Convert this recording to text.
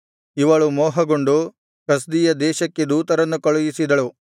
ಇವಳು ಮೋಹಗೊಂಡು ಕಸ್ದೀಯ ದೇಶಕ್ಕೆ ದೂತರನ್ನು ಕಳುಹಿಸಿದಳು